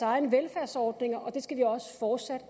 egen velfærdsordning og det skal vi også fortsat